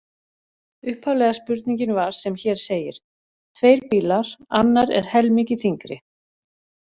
Upphaflega spurningin var sem hér segir: Tveir bílar, annar er helmingi þyngri.